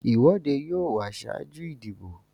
ìwọ́dé yóò wà ṣáájú ìdìbò.